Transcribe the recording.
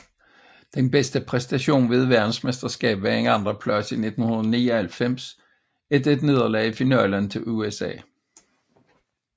Den bedste præstation ved et verdensmesterskab var en andenplads i 1999 efter et nederlag i finalen til USA